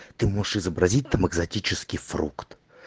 ты можешь изобразить там экзотический фрукт